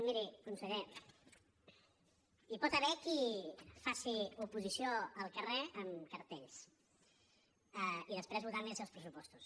miri conseller hi pot haver qui faci oposició al carrer amb cartells i després li voti els seus pressupostos